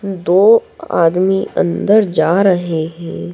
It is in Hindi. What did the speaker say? दो आदमी अंदर जा रहे है।